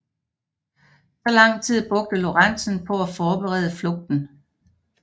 Så lang tid brugte Lorentzen på at forberede flugten